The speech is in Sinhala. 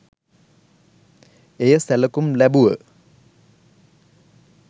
එය සැලකුම් ලැබුව